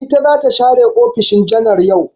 Ita za ta share ofishin janar yau.